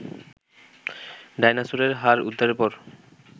ডায়নোসরের হাড় উদ্ধারের পর